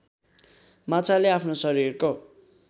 माछाले आफ्नो शरीरको